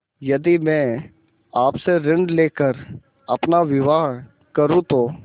यदि मैं आपसे ऋण ले कर अपना विवाह करुँ तो